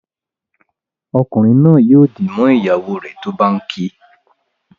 Ọkunrin naa yóò dì mọ ìyàwó rẹ tó bá ǹ kí.